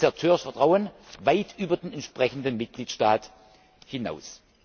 zerstört Vertrauen weit über den entsprechenden Mitgliedstaat hinaus.